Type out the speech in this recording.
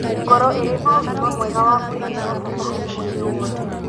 Ngoro ĩrĩ na ũgima mwega wa mwĩrĩ nĩ ya bata harĩ mwĩrĩ wothe.